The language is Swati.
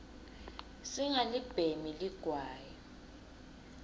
singalibhemi ligwayi